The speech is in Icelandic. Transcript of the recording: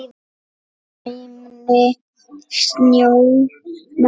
Næmni sjónar